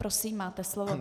Prosím, máte slovo.